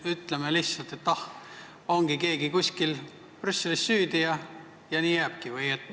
Ütleme lihtsalt, et keegi kuskil Brüsselis on süüdi, ja nii jääbki.